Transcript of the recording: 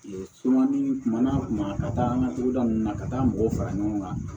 kuma na kuma ka taa an ka togoda ninnu na ka taa mɔgɔw fara ɲɔgɔn kan